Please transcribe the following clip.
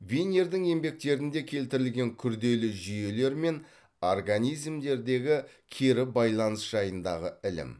винердің еңбектерінде келтірілген күрделі жүйелер мен организмдердегі кері байланыс жайындағы ілім